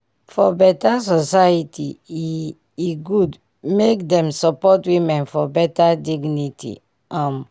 if support dey for wetin women want e dey help um dem fit um plan family for family for health mata